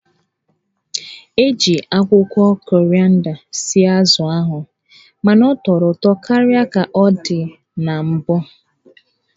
E ji akwụkwọ korịanda sie azụ ahụ mana ọ tọrọ ụtọ karịa ka ọ dị na mbụ.